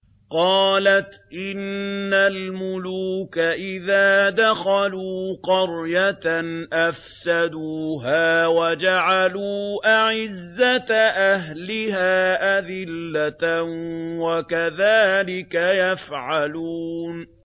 قَالَتْ إِنَّ الْمُلُوكَ إِذَا دَخَلُوا قَرْيَةً أَفْسَدُوهَا وَجَعَلُوا أَعِزَّةَ أَهْلِهَا أَذِلَّةً ۖ وَكَذَٰلِكَ يَفْعَلُونَ